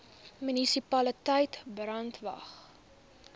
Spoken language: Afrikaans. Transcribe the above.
munisipaliteit brandwatch